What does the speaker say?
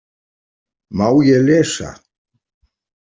Má ég lesa?